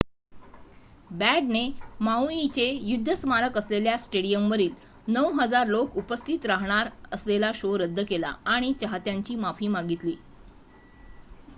बँडने माऊइचे युद्ध स्मारक असलेल्या स्टेडिअमवरील ९,००० लोक उपस्थित राहणार असलेला शो रद्द केला आणि चाहत्यांची माफी मागितली